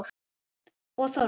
Og Þórð.